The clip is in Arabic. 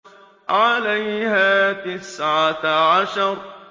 عَلَيْهَا تِسْعَةَ عَشَرَ